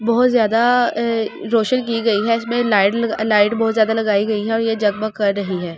बहुत ज्यादा रोशन की गई है इसमें लाइट लाइट बहुत ज्यादा लगाई गई है और ये जगमग कर रही है ।